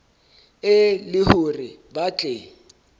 e le hore ba tle